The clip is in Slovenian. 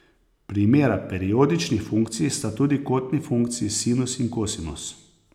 Primera periodičnih funkcij sta tudi kotni funkciji sinus in kosinus.